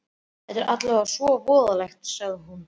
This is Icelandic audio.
Þetta er alveg svo voðalegt, sagði hún.